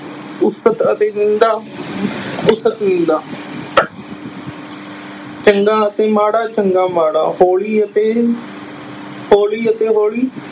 ਉਸਤਤ ਅਤੇ ਨਿੰਦਾ ਉਸਤਤ ਨਿੰਦਾ ਚੰਗਾ ਅਤੇ ਮਾੜਾ ਚੰਗਾ ਮਾੜਾ, ਹੌਲੀ ਅਤੇ ਹੌਲੀ ਅਤੇ ਹੌਲੀ